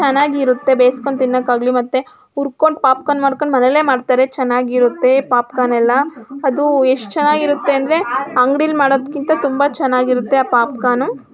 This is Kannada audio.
ಹಲವಾರು ಬಿಲ್ಡಿಂಗಗಳು ಅದರಲ್ಲಿ ಎರಡ ಆಕ್ಟರ್ ಮೂರು ಆಫ್ ಟಿಯರ್ ಐತೆ. ಅಲ್ಲಿ ಲೈಟ್ ಕಂಬ ಅದಕ್ಕೆ ಕೇಬಲ್ ವೈರಗಳು ಚೆನ್ನಾಗಿ ಸುತ್ತೋರೆ ಮತ್ತೆ ಕರೆಂಟ್ ವೇರ್ಗಳು ಏಳ್ದೋರೆ. ಚನಾಗಿರುತ್ತೆ ಬೆಸ್ಕೊಂಡ್ ತಿನ್ನೋಕ್ ಆಗ್ಲಿ ಮತ್ತೆ ಉರ್ಕೊಂಡ್ ಪಾಪಕಾರ್ನ್ ಮಾಡ್ಕೊಂಡ್ ಮನೇಲೆ ಮಾಡ್ತಾರೆ ಚನಾಗ್ ಇರುತ್ತೆ ಪಾಪಕಾರ್ನ್ ಎಲ್ಲ ಅದು ಎಷ್ಟ್ ಚನಾಗ್ ಇರುತ್ತೆ ಅಂದ್ರೆ ಅಂಗಡಿಲಿ ಮಾಡತಕಿಂತ ತುಂಬಾ ಚನಾಗಿರುತ್ತೆ ಆ ಪಾಪಕಾರ್ನ್ನು .